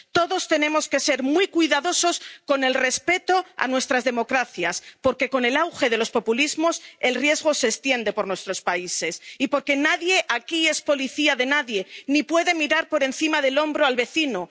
Todos tenemos que ser muy cuidadosos con el respeto a nuestras democracias, porque, con el auge de los populismos, el riesgo se extiende por nuestros países, y porque nadie aquí es policía de nadie ni puede mirar por encima del hombro al vecino.